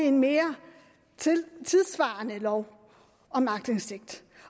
en mere tidssvarende lov om aktindsigt